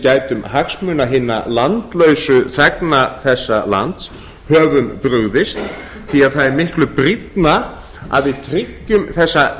gætum hagsmuna hinna landlausu þegna þessa lands höfum brugðist því það er miklu brýnna að við tryggjum þessa